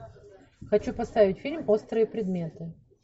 хочу поставить фильм острые предметы